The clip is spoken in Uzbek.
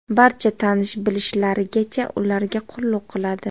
barcha tanish-bilishlarigacha ularga qulluq qiladi.